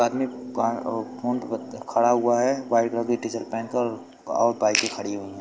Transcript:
खड़ा हुआ है व्हाइट कलर कि टी शर्ट पहन के और बाइके खड़ी हुई है।